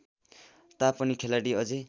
तापनि खेलाडी अझै